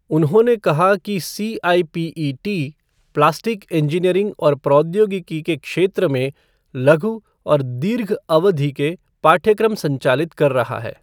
उन्होंने कहा कि सीआईपीईटी, प्लास्टिक इंजिनियरिंग और प्रौद्योगिकी के क्षेत्र में लघु और दीर्घ अवधि के पाठ्यक्रम संचालित कर रहा है।